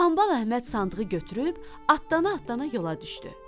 Hambal Əhməd sandığı götürüb, atdana-atdana yola düşdü.